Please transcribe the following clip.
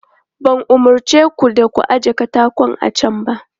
Ban umarce ku da ku ajiye katako a can ba?